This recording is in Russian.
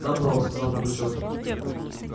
добро сказал пугачёв